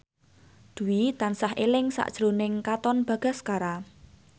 Dwi tansah eling sakjroning Katon Bagaskara